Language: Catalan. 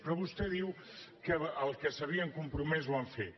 però vostè diu que allò a què s’havien compromès ho han fet